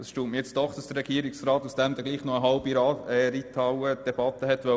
Es erstaunt mich, dass der Regierungsrat nun doch noch eine halbe Reithallendebatte führen wollte.